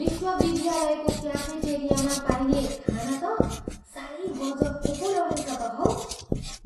विश्वविद्यालयको क्याफेटेरियामा पाइने खाना त साह्रै गजब पो रहेछ त हौ।